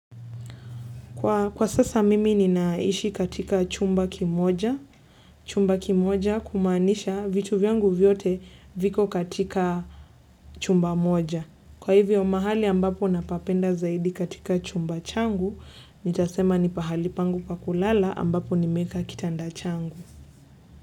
Kwa sasa mimi ninaishi katika chumba kimoja. Chumba kimoja kumaanisha vitu vyangu vyote viko katika chumba moja. Kwa hivyo mahali ambapo napapenda zaidi katika chumba changu, nitasema ni pahali pangu pa kulala ambapo nimeeka kitanda changu.